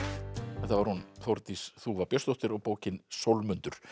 þetta var hún Þórdís þúfa Björnsdóttir og bókin